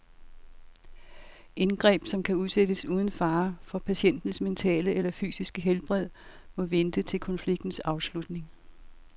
Indgreb, som kan udsættes uden fare for patientens mentale eller fysiske helbred, må vente til konfliktens afslutning.